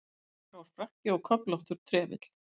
Dökkgrár frakki og köflóttur trefill.